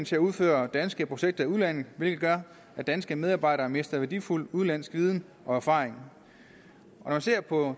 til at udføre danske projekter i udlandet hvilket gør at danske medarbejdere mister værdifuld udenlandsk viden og erfaring når jeg ser på